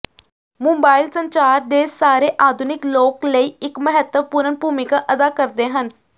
mobile ਸੰਚਾਰ ਦੇ ਸਾਰੇ ਆਧੁਨਿਕ ਲੋਕ ਲਈ ਇੱਕ ਮਹੱਤਵਪੂਰਨ ਭੂਮਿਕਾ ਅਦਾ ਕਰਦੇ ਹਨ